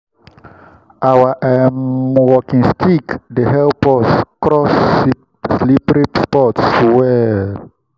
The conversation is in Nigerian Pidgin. our um walking stick dey help us cross slippery spots well.